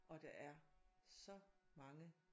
Og der er så mange